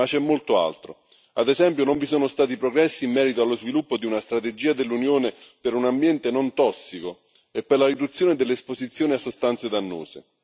Ma c'è molto altro ad esempio, non vi sono stati progressi in merito allo sviluppo di una strategia dell'Unione per un ambiente non tossico e per la riduzione dell'esposizione a sostanze dannose